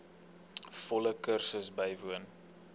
volle kursus bywoon